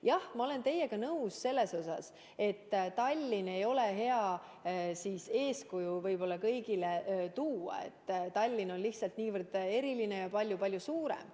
Jah, ma olen teiega nõus selles, et Tallinna ei ole võib-olla hea kõigile eeskujuks tuua, sest Tallinn on lihtsalt niivõrd eriline ja palju-palju suurem.